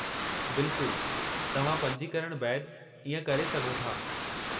बिल्कुलु, तव्हां पंजीकरण बैदि इएं करे सघो था।